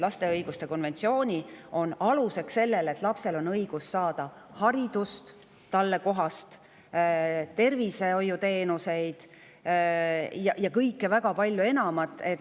Ma tuletan meelde, et konventsioon on aluseks sellele, et lapsel oleks õigus saada haridust, talle kohaseid tervishoiuteenuseid, ja väga palju enamat.